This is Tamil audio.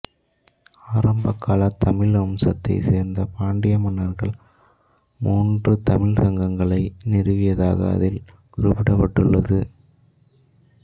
ஆரம்பகால தமிழ் வம்சத்தைச் சேர்ந்த பாண்டிய மன்னர்கள் மூன்று தமிழ்ச் சங்கங்களை நிறுவியதாக அதில் குறிப்பிடப்பட்டுள்ளது